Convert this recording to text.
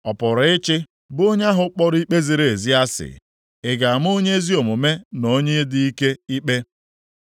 Ọ pụrụ ịchị bụ onye ahụ kpọrọ ikpe ziri ezi asị? Ị ga-ama Onye ezi omume na onye dị ike ikpe?